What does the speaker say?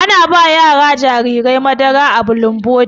Ana ba jarirai madara a bulumboti.